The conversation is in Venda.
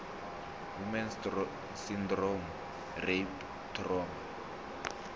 woman s syndrome rape trauma